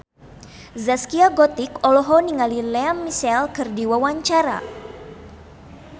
Zaskia Gotik olohok ningali Lea Michele keur diwawancara